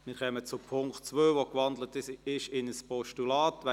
Wir kommen zum Punkt 2, der in ein Postulat gewandelt ist.